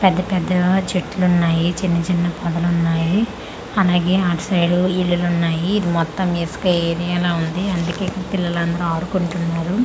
పెద్ద పెద్ద చెట్లున్నాయి చిన్న చిన్న పొదలున్నాయి అలాగే అటు సైడ్ ఇల్లులున్నాయి ఇది మొత్తం ఇసుక ఏరియాలా ఉంది అందుకే ఇక్కడ పిల్లలంతా ఆడుకుంటున్నారు.